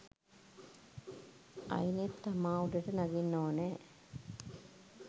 අයිනෙන් තමා උඩට නගින්න ඕන.